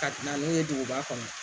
Ka na n'o ye duguba kɔnɔ